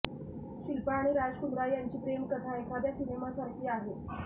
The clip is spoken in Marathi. शिल्पा आणि राज कुंद्रा यांची प्रेमकथा एखाद्या सिनेमासारखी आहे